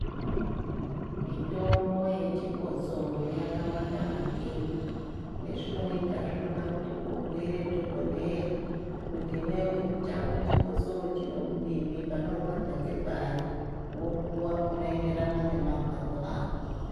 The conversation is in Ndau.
Mitombo yechikotsoro yakawanda maningi. Chezvinoita zvinoda kuti ubhuire dhogodheya, kuti iwewe chako chikosoro chinokudini ,panorwadza ngepari. Wopuwa unoenderana nemarwadzo ako.